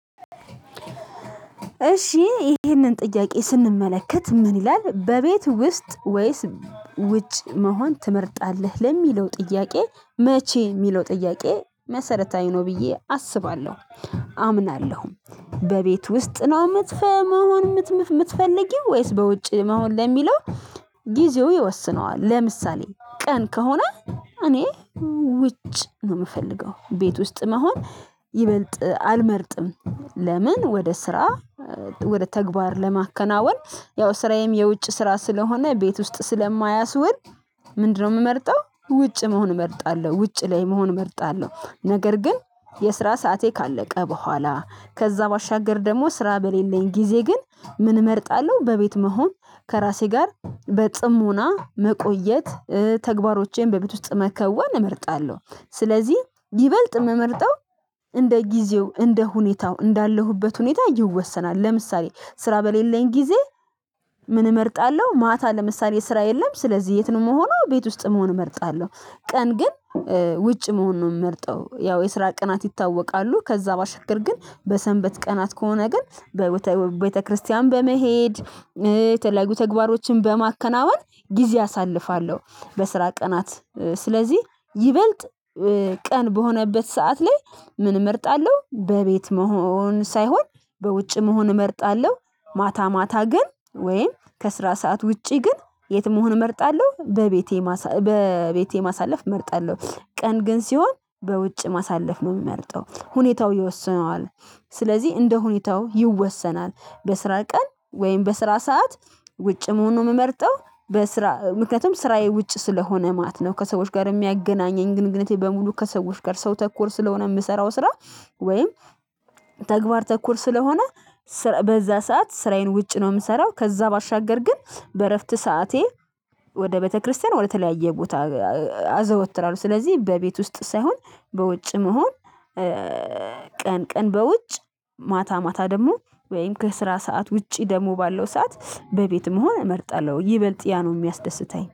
እሺ ይሄንን ጥያቄ ስንመለከት ምን ይላል በቤት ውስጥ ወይስ ውጭ መሆን ትመርጣለህ ለሚለው ጥያቄ መቼ የሚለው ጥያቄ መሰረታዊ ነው። ብዬ አስባለሁ አምናለሁም በቤት ውስጥ ነው። መሆን የምትፈልጊው ወይስ በውጭ መሆን ለሚለው ጊዜው ይወስነዋል ለምሳሌ ቀን ከሆነ እኔ ውጭ ነው የምፈልገው ቤት ውስጥ መሆን። ይበልጥ አልመርጥም ለምን ወደ ስራ ወደ ተግባር ለማከናወን ያው ስራዬም የውጭ ስራ ስለሆነ ቤት ውስጥ ስለማያስወል። ምንድነው? የምመርጠው ውጭ መሆን እመርጣለሁ ውጭ ላይ መሆን እመርጣለሁ። ነገር ግን የስራ ሰዓቴ ካለቀ በኋላ ከዛ ባሻገር ደግሞ ስራ በሌለኝ ጊዜ ግን ምን እመርጣለሁ በቤት መሆን። ከራሴ ጋር በጽሞና መቆየት ተግባሮቼን በቤት ውስጥ መከዋን እመርጣለሁ። ስለዚህ ይበልጥ ምመርጠው እንደ ጊዜው እንደ ሁኔታው እንዳለሁበት ሁኔታ ይወሰናል። ለምሳሌ ስራ በሌለኝ ጊዜ። ምን እመርጣለሁ ማታ ለምሳሌ ስራ የለም ስለዚህ የት ነው መሆኑ ቤት ውስጥ መሆን እመርጣለሁ። ቀን ግን ውጭ መሆን ነው የምመርጠው ያው የስራ ቀናት ይታወቃሉ። ከዛ ባሻገር ግን በሰንበት ቀናት ከሆነ ግን በቤተክርስቲያን በመሄድ የተለያዩ ተግባሮችን በማከናወን ጊዜ አሳልፋለሁ። በስራ ቀናት ስለዚህ ይበልጥ ቀን በሆነበት ሰዓት ላይ ምን እመርጣለሁ በቤት መሆን ሳይሆን በውጭ መሆን እመርጣለሁ። ማታ ማታ ግን ወይም ከስራ ሰዓት ውጪ ግን የት? መሆን እመርጣለሁ በቤቴ በቤቴ ማሳለፍ እመርጣለሁ። ቀን ግን ሲሆን በውጭ ማሳለፍ ነው የሚመርጠው ሁኔታው ይወስነዋል። ስለዚህ እንደ ሁኔታው ይወሰናል። በስራ ቀን ወይም በስራ ሰዓት ውጭ መሆን ነው ምመርጠው። ምክንያቱም ስራዬ ውጭ ስለሆነ ማለት ነው። ከሰዎች ጋር የሚያገናኘኝ ግንኙነቴ በሙሉ ከሰዎች ጋር ሰው ተኮር ስለሆነ የምሰራው ስራ። ወይም ተግባር ተኮር ስለሆነ። በዛ ሰዓት ስራዬን ውጭ ነው የምሰራው። ከዛ ባሻገር ግን በእረፍት ሰዓቴ ወደ ቤተክርስቲያን ወደ ተለያየ ቦታ አዘወትራለሁ። ስለዚህ በቤት ውስጥ ሳይሆን በውጭ መሆን። ቀን ቀን በውጭ ማታ ማታ ደግሞ ወይም ከስራ ሰዓት ውጪ ደግሞ ባለው ሰዓት በቤትም መሆን እመርጣለሁ ይበልጥ ያ ነው የሚያስደስተኝ